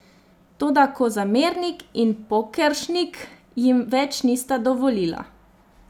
Toda Kozamernik in Pokeršnik jim več nista dovolila.